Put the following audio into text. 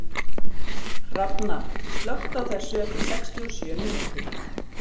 Hrafna, slökktu á þessu eftir sextíu og sjö mínútur.